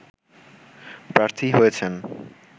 প্রার্থী হয়েছেন